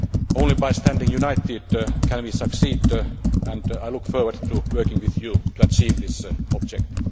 do. Only by standing united can we succeed, and I look forward to working with you to achieve this objective.